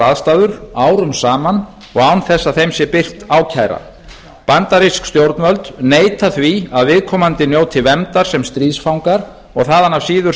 aðstæður árum saman og án þess að þeim sé birt ákæra bandarísk stjórnvöld neita því að viðkomandi njóti verndar sem stríðsfangar og þaðan af síður